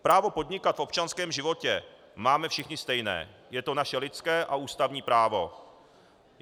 Právo podnikat v občanském životě máme všichni stejné, je to naše lidské a ústavní právo.